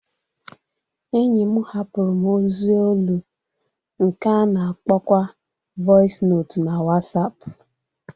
Enyi m hapụrụ m ozi olu nke a na-akpọkwa vọis notu na Wọsapụ